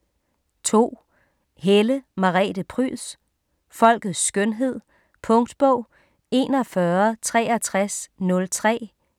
2. Helle, Merete Pryds: Folkets skønhed Punktbog 416303